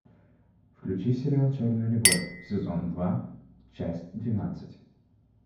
включи сериал черная любовь сезон два часть двенадцать